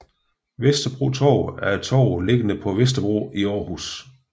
Vesterbro Torv er et torv liggende på Vesterbro i Aarhus